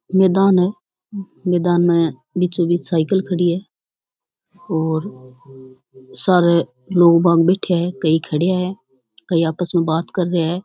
मेदान है मेदान मे बीचो बीच साइकिल खड़ी है और सारे लोग बाग बेठे है कई खड़े है कई आपस मे बात कर रहे है।